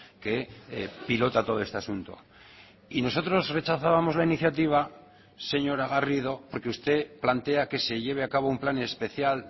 que pilota todo este asunto y nosotros rechazábamos la iniciativa señora garrido porque usted plantea que se lleve a cabo un plan especial